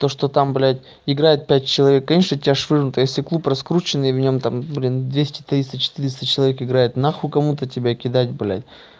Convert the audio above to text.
то что там блядь играет пять человек конечно тебя швырнут если клуб раскрученный и в нем там блин двести триста четыреста человек играет нахуй кому-то тебя кидать блядь